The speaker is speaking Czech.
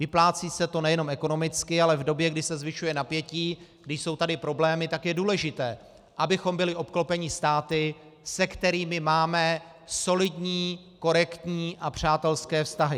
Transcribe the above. Vyplácí se to nejenom ekonomicky, ale v době, kdy se zvyšuje napětí, kdy jsou tady problémy, tak je důležité, abychom byli obklopeni státy, se kterými máme solidní, korektní a přátelské vztahy.